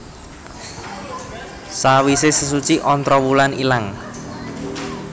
Sawise sesuci Ontrowulan ilang